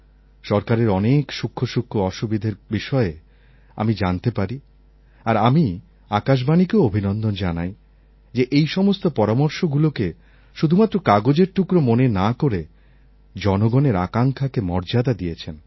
সরকারের অনেক সূক্ষ্ম সূক্ষ্ম অসুবিধার বিষয়ে আমি জানতে পারি আর আমি আকাশবাণীকেও অভিনন্দন জানাই যে এই সমস্ত পরামর্শগুলোকে শুধুমাত্র কাগজের টুকরো মনে না করে জনগণের আকাঙ্ক্ষাকে মর্যাদা দিয়েছেন